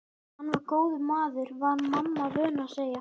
Hann var góður maður var mamma vön að segja.